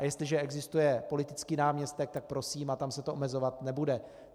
A jestliže existuje politický náměstek, tak prosím, a tam se to omezovat nebude.